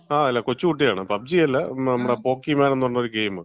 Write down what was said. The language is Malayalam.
ആ കൊച്ചുകുട്ടിയാണ്. പബ്ജി അല്ല, നമ്മുടെ പോക്കിമാൻ എന്ന്പറഞ്ഞൊരു ഗെയിം.